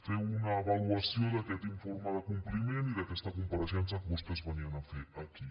fer una avaluació d’aquest informe de compliment i d’aquesta compareixença que vostès venien a fer aquí